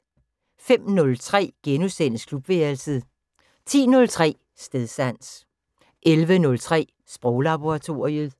05:03: Klubværelset * 10:03: Stedsans 11:03: Sproglaboratoriet